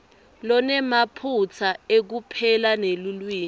lonemaphutsa ekupela nelulwimi